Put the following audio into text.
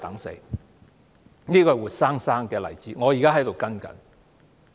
這個活生生的例子，我正在跟進。